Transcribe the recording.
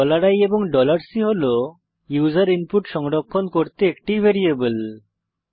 i এবং C হল user input সংরক্ষণ করতে একটি ভ্যারিয়েবল